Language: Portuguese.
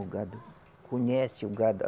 O gado conhece, o gado.